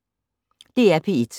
DR P1